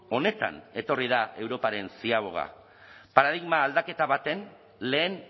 honetan etorri da europaren ziaboga paradigma aldaketa baten lehen